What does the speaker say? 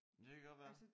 Det kan godt være